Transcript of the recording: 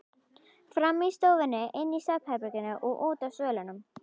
Frammi í stofunni, inni í svefnherberginu og úti á svölunum.